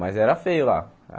Mas era feio lá.